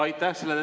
Aitäh!